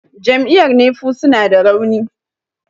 jam'iyyar nefu suna da rauni